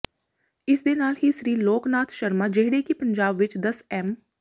ਇਸਦੇ ਨਾਲ ਹੀ ਸ੍ਰੀ ਲੋਕ ਨਾਥ ਸ਼ਰਮਾ ਜਿਹੜੇ ਕਿ ਪੰਜਾਬ ਵਿਚ ਦਸ ਐਮ